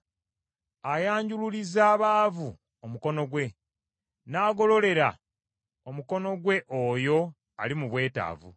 Ayanjululiza abaavu omukono gwe, n’agololera omukono gwe oyo ali mu bwetaavu.